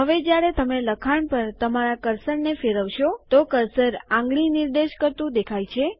હવે જ્યારે તમે લખાણ પર તમારા કર્સરને ફેરવશો તો કર્સર આંગળી નિર્દેશ કરતું દેખાય છે